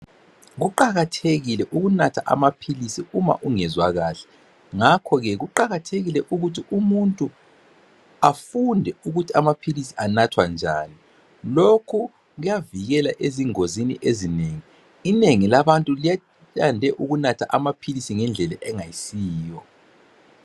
Kuqakathekile ukunatha amaphilisi uma ungezwa kahle, ngakho ke kuqakathekile ukuthi umuntu afunde ukuthi amaphilisi anathwa njani. Lokhu kuyavikela ezingozini ezinengi. Inengi labantu liya liyande ukunatha amaphilisi ngendlela engayisiyo.